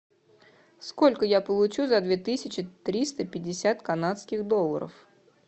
сколько я получу за две тысячи триста пятьдесят канадских долларов